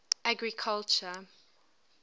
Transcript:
agriculture